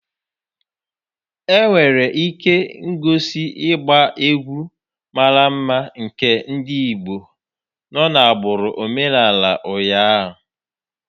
E nwere ihe ngosi ịgba egwu mara mma nke ndị Igbo nọ n'agbụrụ omenala ụnyaahụ